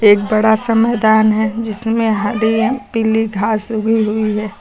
एक बड़ा सा मैदान है जिसमें हरी पीली घास उगी हुई है।